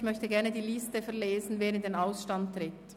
Ich möchte die Liste verlesen, wer in den Ausstand tritt.